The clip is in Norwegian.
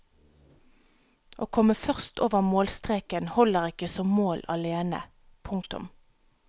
Å komme først over målstreken holder ikke som mål alene. punktum